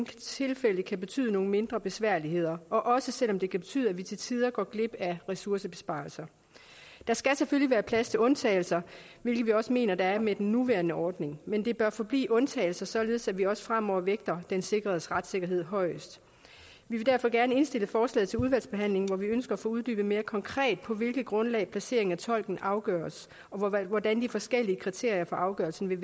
tilfælde kan betyde nogle mindre besværligheder også selv om det kan betyde at vi til tider går glip af ressourcebesparelser der skal selvfølgelig være plads til undtagelser hvilket vi også mener der er med den nuværende ordning men det bør forblive undtagelser således at vi også fremover vægter den sikredes retssikkerhed højest vi vil derfor gerne indstille forslaget til udvalgsbehandling hvor vi ønsker at få uddybet mere konkret på hvilket grundlag placering af tolken afgøres og hvordan de forskellige kriterier for afgørelsen